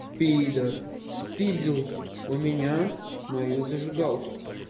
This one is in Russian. пидар спиздил у меня мою зажигалку